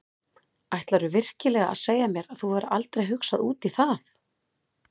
Ætlarðu virkilega að segja mér að þú hafir aldrei hugsað út í það?